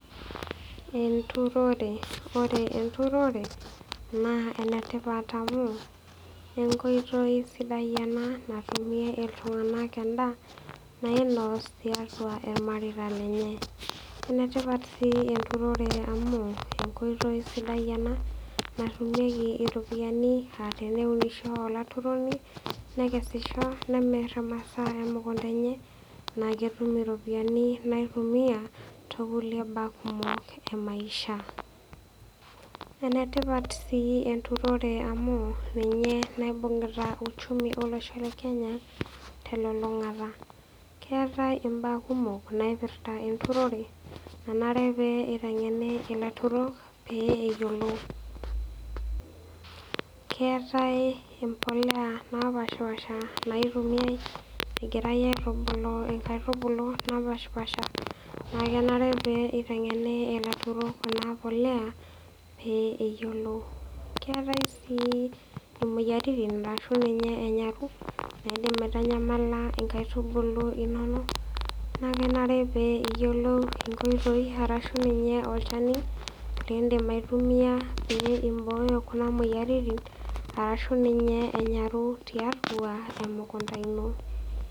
Eturore. Ore eturore naa, enetipat amu, enkoitoi sidai ena natumie iltunganak endaa nainos tiatua irmareita lenye. Enetipat si eturore amu, enkoitoi sidai ena natumie iropiyani ah teneunisho olaturoni nekesisho nemir imasaa emekunta enye naa ketum iropiyani naitumia too kulie kulie baa kumok e maisha . Enetipat si eturore amu, ninye naibungita uchumi olosho le Kenya telulungata. Keetae imbaa kumok naipirta eturore nanare pee itengeni ilaturok pee eyiolou. Keetae ebolea napashipasha naitumiae egirae aitubulu inkaitubulu napashipasha na kenare pee itengeni ilaturok ena bolea pee eyiolou. Keetae si imoyiaritin arashu ninye enyaru naidim aitanyamala inkaitubulu inonok naa kenare pee iyiolou enkoitoi arashu ninye olchani lidim aitumia pee ibooyo kina moyiaritin arashu ninye enyaru tiatua emukunta ino.